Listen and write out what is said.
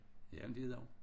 Jamen det er det jo